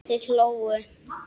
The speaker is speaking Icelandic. Þeir hlógu.